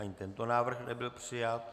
Ani tento návrh nebyl přijat.